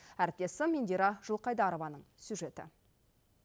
әріптесім индира жылқайдарованың сюжеті